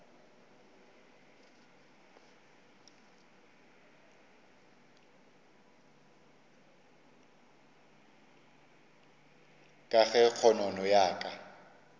ka ge kgonono ya ka